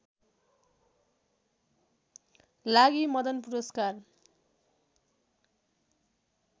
लागि मदन पुरस्कार